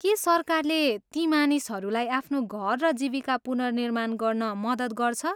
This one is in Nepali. के सरकारले ती मानिसहरूलाई आफ्नो घर र जीविका पुनर्निर्माण गर्न मद्दत गर्छ?